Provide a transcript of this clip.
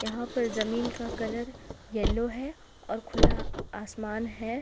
यहां पर जमीन का कलर येलो है और खुला आसमान है।